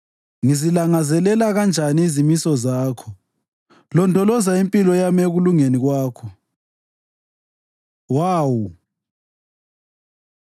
Ngizilangazelela kanjani izimiso zakho! Londoloza impilo yami ekulungeni kwakho. ו Waw